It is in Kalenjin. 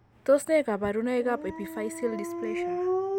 Tos nee kabarunaik ab Epiphyseal dysplasia ?